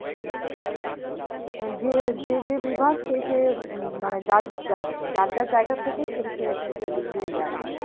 কারণ যে যে যে বিভাগ সে সে উম মানে যার যার যার যার জায়গা থেকে সে সে সেইদিক দিয়ে ইয়ে আরকি